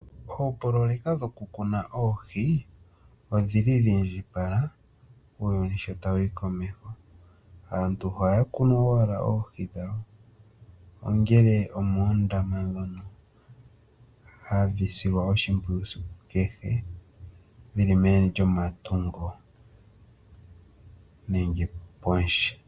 Oopoloweka dhokumuna oohi odhili dhiindjipala uuyuni sho tawu yi komeho. Aantu ohaya tekulile oohi moondombe moka haye dhi sile oshimpwiyu esiku kehe dhili meni lyomatungo nenge pondje.